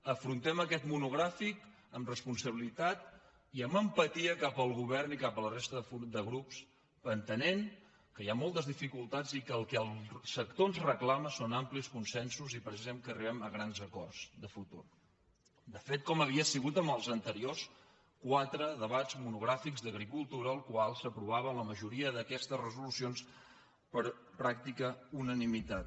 afrontem aquest monogrà·fic amb responsabilitat i amb empatia cap al govern i cap a la resta de grups entenent que hi ha moltes di·ficultats i que el que el sector ens reclama són amplis consensos i precisament que arribem a grans acords de futur de fet com havia sigut en els anteriors quatre debats monogràfics d’agricultura als quals s’aprova·ven la majoria d’aquestes resolucions per pràctica una·nimitat